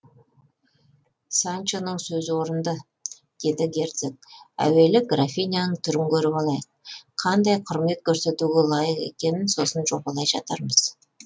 санчоның сөзі орынды деді герцог әуелі графиняның түрін көріп алайық қандай құрмет көрсетуге лайық екенін сосын жобалай жатармыз